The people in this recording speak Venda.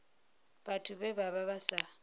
vhathu vhe vha vha sa